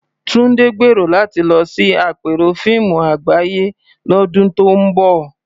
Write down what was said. Tunde gbèrò láti lọ sí àpérò fíìmù àgbáyé lọ́dún tó ń bọ̀.